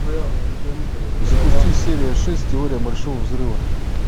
запусти серия шесть теория большого взрыва